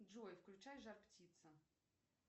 джой включай жар птица